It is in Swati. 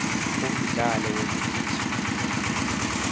umdlalo wekugijima